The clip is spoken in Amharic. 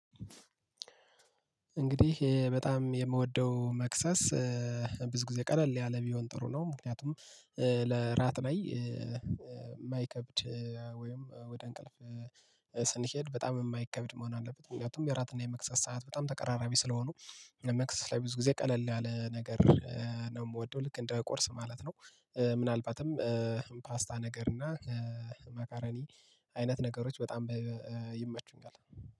እንግዲህ በጣም የምወደው መክሰስ ብዙ ጊዜ ቀለል ያለ ቢሆን ጥሩ ነው። ምክንያቱም ለዕራት ላይ የማይከብድ ወይም ወደ እንቅልፍ ስንሄድ በጣም የማይከብድ መሆን አለበት። ምክንያቱም የዕራትና የመክሰስ ሰዓት በጣም ተቀራራቢ ስለሆኑ ለመክሰስ ላይ ብዙ ጊዜ ቀለል ያለ ነገር ነው። የምወደው ልክ እንደ ቁርስ ማለት ነው። ምናልባትም ፓስታ ነገር እና መኮረኒ አይነት ነገሮች በጣም ይመቹኛል